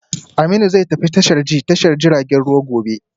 Aminu zai tafi tashar ji ta tashar jiragen ruwa gobe